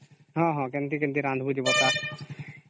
ହଁ ହଁ କେମିତି କେମିତି ରାଣ୍ଡିବି କୁହ